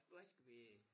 Hvad skal vi